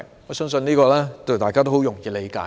我相信這是很容易理解的。